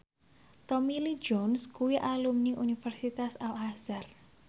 Tommy Lee Jones kuwi alumni Universitas Al Azhar